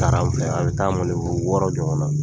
A taara an fɛ, a bɛ taa wɔɔrɔ ɲɔgɔnna.